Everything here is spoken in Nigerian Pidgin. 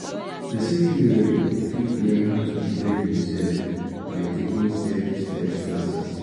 persin fit learnn fit learnn how to defend im self by taking self-defence classes